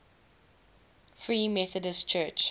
free methodist church